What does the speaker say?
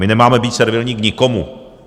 My nemáme být servilní k nikomu.